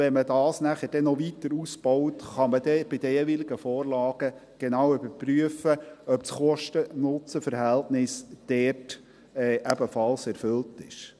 Wenn man dies nachher noch weiter ausbaut, kann man dann bei den jeweiligen Vorlagen genau überprüfen, ob das Kosten-Nutzen-Verhältnis dort ebenfalls erfüllt ist.